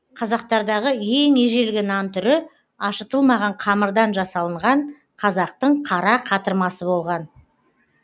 қазақтардағы ең ежелгі нан түрі ашытылмаған қамырдан жасалынған қазақтың қара қатырмасы болған